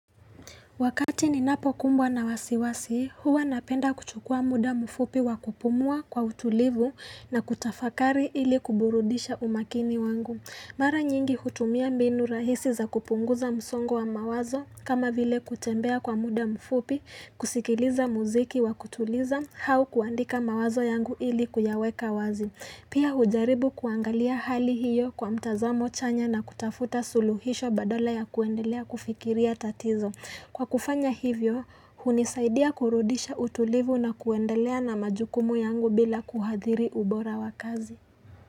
Wakati ninapokumbwa na wasiwasi, huwa napenda kuchukua muda mfupi wa kupumua kwa utulivu na kutafakari ili kuburudisha umakini wangu. Mara nyingi hutumia mbinu rahisi za kupunguza msongo wa mawazo kama vile kutembea kwa muda mfupi, kusikiliza muziki wa kutuliza, au kuandika mawazo yangu ili kuyaweka wazi. Pia hujaribu kuangalia hali hiyo kwa mtazamo chanya na kutafuta suluhisho badala ya kuendelea kufikiria tatizo. Kwa kufanya hivyo, hunisaidia kurudisha utulivu na kuendelea na majukumu yangu bila kuathiri ubora wa kazi.